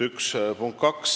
See oli punkt üks.